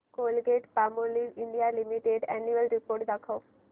Colgate Palmolive India limited annual report दाखव